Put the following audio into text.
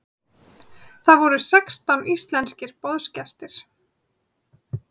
Þar voru sextán íslenskir boðsgestir.